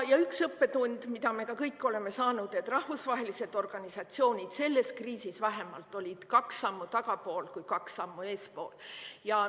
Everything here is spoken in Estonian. Ja üks õppetund, mida me kõik oleme saanud – rahvusvahelised organisatsioonid, vähemalt selles kriisis, olid pigem kaks sammu tagapool kui kaks sammu eespool.